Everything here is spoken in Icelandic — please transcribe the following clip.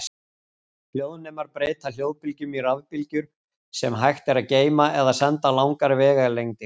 Hljóðnemar breyta hljóðbylgjum í rafbylgjur sem hægt er að geyma eða senda langar vegalengdir.